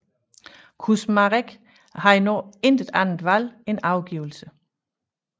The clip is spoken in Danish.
Kusmarek havde nu intet andet valg end overgivelse